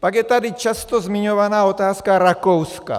Pak je tady často zmiňovaná otázka Rakouska.